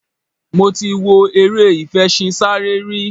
Mo ti wọ eré ìfeṣinsárẹ́ rí.